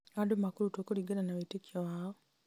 o andũ makarutwo kũringana na wĩtĩkio wao